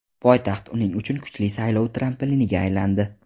Poytaxt uning uchun kuchli saylov trampiliniga aylandi.